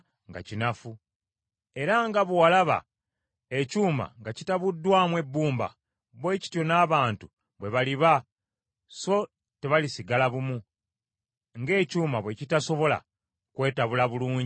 Era nga bwe walaba ekyuma nga kitabuddwamu ebbumba bwe batyo n’abantu bwe baliba so tebalisigala bumu, ng’ekyuma bwe kitasobola kwetabula bulungi na bbumba.